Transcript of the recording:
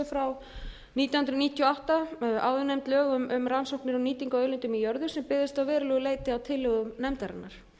sjö nítján hundruð níutíu og átta áðurnefnd lög um rannsóknir á nýtingu á auðlindum í jörðu sem byggðust að verulegu leyti á tillögum nefndarinnar